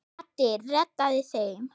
Addi reddaði þeim.